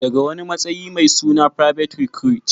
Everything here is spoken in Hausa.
daga wani matsayi mai suna private recruit